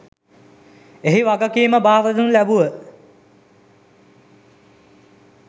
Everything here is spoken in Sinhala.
එහි වගකීම බාරදෙනු ලැබුව